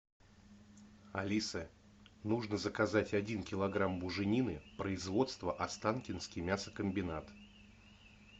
алиса нужно заказать один килограмм буженины производство останкинский мясокомбинат